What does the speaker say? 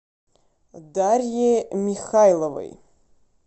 дарье михайловой